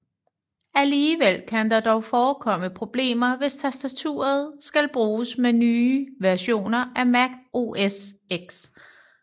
Alligevel kan der dog forekomme problemer hvis tastaturet skal bruges med nye versioner af Mac OS X